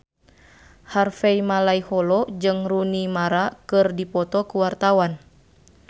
Harvey Malaiholo jeung Rooney Mara keur dipoto ku wartawan